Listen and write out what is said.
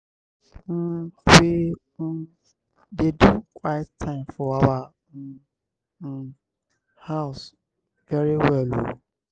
um we um dey do quiet time for our um um house very well oo.